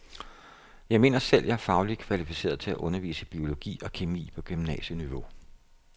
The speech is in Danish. Jeg mener selv, at jeg er fagligt kvalificeret til at undervise i biologi og kemi på gymnasieniveau.